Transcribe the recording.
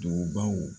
Dugubaw